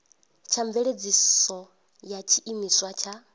tsha mveledziso ya tshiimiswa tsha